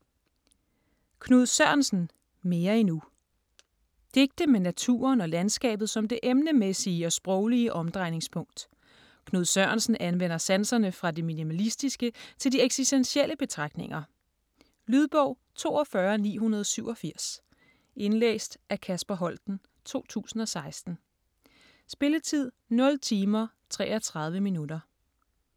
Sørensen, Knud: Mere endnu Digte med naturen og landskabet som det emnemæssige og sproglige omdrejningspunkt. Knud Sørensen anvender sanserne fra det minimalistiske til de eksistentielle betragtninger. Lydbog 42987 Indlæst af Kasper Holten, 2016. Spilletid: 0 timer, 33 minutter.